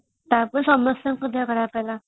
ଟା ପରେ ସମସ୍ତଙ୍କ ଦେହାଖରାପ ହେଲା